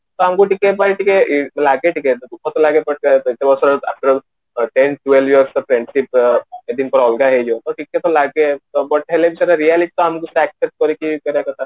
ତ ଆମକୁ ଟିକେ ପାଇଁ ଟିକେ ଲାଗେ ଟିକେ ଦୁଖ ତ ଲାଗେ but ଟିକେ ତ ଲାଗେ but ସେଟା ହେଲେ reality ଟା ଆମକୁ